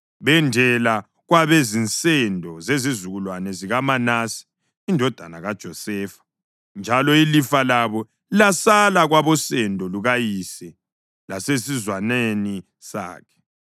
Bendela kwabezinsendo zezizukulwane zikaManase indodana kaJosefa, njalo ilifa labo lasala kwabosendo lukayise lesizwaneni sakhe.